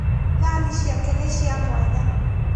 Thani ciake ni cia mwanya